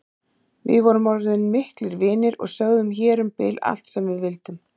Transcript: Við vorum orðin miklir vinir og sögðum hér um bil allt sem við vildum.